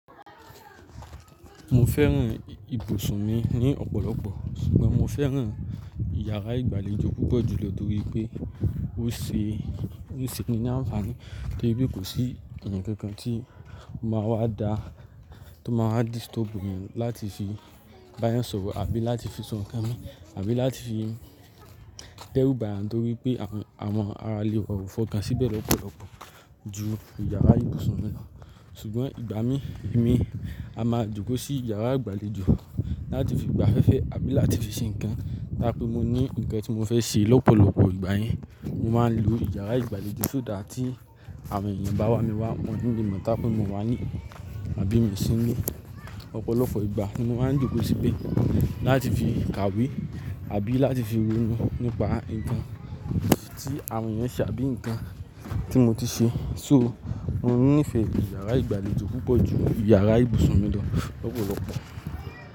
Mo fẹ́ràn ibùsùn mi ní ọ̀pọ̀lọpọ̀, ṣùgbọ́n mo fẹ́ràn ìyàrá ìgbàlejò púpọ̀ jùlọ nítorí pé ó ṣe, ó ṣe ni ní àǹfààní torípé kò sí èèyàn kankan tí ó máa wá dá tó máa wá disturb mi láti fi bá èèyàn sọ̀rọ̀ àbí láti fi sọ nǹkan mi àbí láti fi dẹ́rú ba yan ni nítorí pé àwọn ara lè wa o fọ̀kàn síbẹ̀ lọ́pọ̀lọpọ̀ ju ìyàrá ìbùsùn mi lọ. Ṣùgbọ́n ìgbà mi mi a máa jókòó sí ìyàrá ìgbàlejò láti fi gbafẹ́fẹ́ àbí láti fi ṣe nǹkan tá a pé mo ní nǹkan tí mo fẹ́ ṣe lọ́pọ̀lọpọ̀ ìgbà yẹn. Mo máa ń lo ìyàrá ìgbàlejò sọ́ dà tí àwọn èèyàn bá wá mi wá wọ̀n ní le mọ̀ tá a pé mo wá nílé àbí mo ṣí nílé ọ̀pọ̀lọpọ̀ ìgbà ni mo máa ń jókòó síbẹ̀ láti fi kàwé àbí láti fi ronú nípa nǹkan tí àwọn èèyàn ṣe àbí nǹkan tí mo ti ṣe. So mo nífẹ̀ẹ́ ìyàrá ìgbàlejò púpọ̀ ju ìyàrá ìbùsùn mi lọ lọ́pọ̀lọpọ̀.